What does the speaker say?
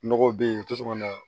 Nɔgɔ be yen tosɔn na